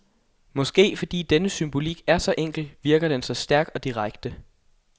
Måske fordi denne symbolik er så enkel, virker den så stærk og direkte.